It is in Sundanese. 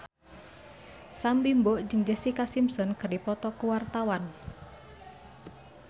Sam Bimbo jeung Jessica Simpson keur dipoto ku wartawan